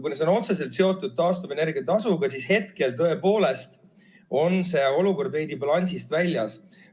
Kuna see on otseselt seotud taastuvenergia tasuga, siis hetkel tõepoolest on olukord veidi balansist väljas.